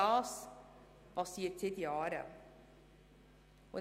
Das geschieht seit Jahren.